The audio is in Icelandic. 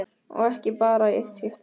Og ekki bara í eitt skipti.